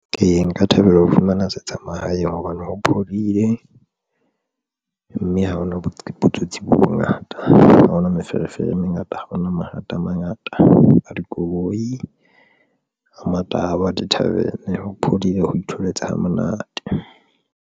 Ee, nka thabela ho fumana setsha mahaeng hobane ho phodile, mme ha hona botsotsi bo bongata. Ha hona meferefere e mengata. Ha hona mathata a mangata a dikoloi a matahwa a di-tarven, ho phodile, ho itholetse ha monate.